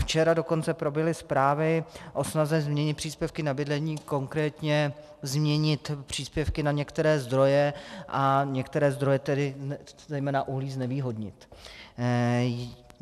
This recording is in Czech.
Včera dokonce proběhly zprávy o snaze změnit příspěvky na bydlení, konkrétně změnit příspěvky na některé zdroje a některé zdroje, tedy zejména uhlí, znevýhodnit.